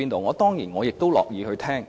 我當然也樂意聆聽。